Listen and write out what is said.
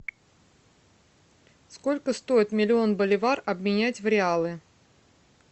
сколько стоит миллион боливар обменять в реалы